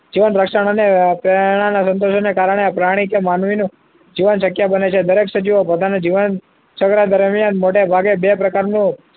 જીવન રક્ષણ અને પ્રેરણા ના સંતોષન કારણે પ્રાણી કે માનવીનું શક્ય જીવન શક્ય બને છે દરેક સજીવો પોતાનું જીવન સક્રિય દરમિયાન મોટાભાગે બે પ્રકાર